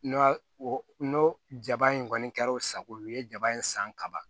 N'o n'o jaba in kɔni kɛra o sago ye o ye jaba in san ka ban